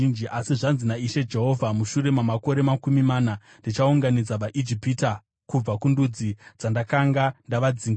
“ ‘Asi zvanzi naIshe Jehovha: Mushure mamakore makumi mana ndichaunganidza vaIjipita kubva kundudzi dzandakanga ndavadzingira.